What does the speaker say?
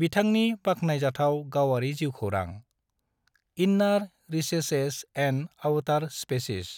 बिथांनि बाख्नायजाथाव गावारि जिउखौरां, inner recesses and outer spaces: